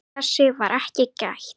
Þess var ekki gætt.